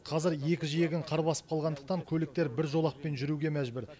қазір екі жиегін қар басып қалғандықтан көліктер бір жолақпен жүруге мәжбүр